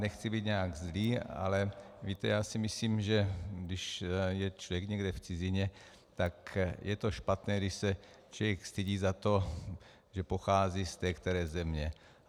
Nechci být nějak zlý, ale víte, já si myslím, že když je člověk někde v cizině, tak je to špatné, když se člověk stydí za to, že pochází z té které země.